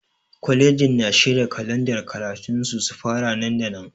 Kwalejin na shirya kalandar karatun su su fara nan da nan.